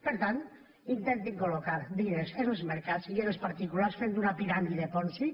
per tant intentin col·locar diners en els mercats i en els particulars fent una piràmide ponzi